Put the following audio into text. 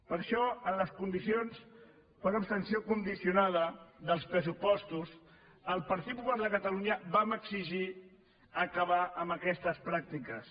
per això en les condicions per abstenció condicionada dels pressupostos el partit popular de catalunya vam exigir acabar amb aquestes pràctiques